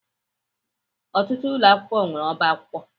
Ọtụtụ ụlọ akwụkwọ nwere ọba akwụkwọ.